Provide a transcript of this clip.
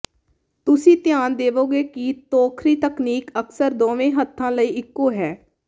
ਤੁਸੀਂ ਧਿਆਨ ਦੇਵੋਗੇ ਕਿ ਤੌਖਰੀ ਤਕਨੀਕ ਅਕਸਰ ਦੋਵੇਂ ਹੱਥਾਂ ਲਈ ਇੱਕੋ ਹੈ